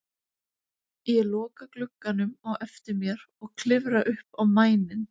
Ég loka glugganum á eftir mér og klifra upp á mæninn.